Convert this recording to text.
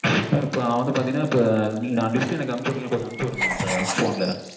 mam நா வந்து பாத்தீங்கனா இப்போ list எனக்கு அனுப்பிச்சுவிட்டீங்கனா கொஞ்சம் அனுப்புச்சு விடுங்களேன் இப்போ phone ல